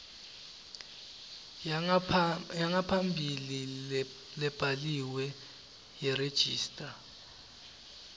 yangaphambilini lebhaliwe yeregistrar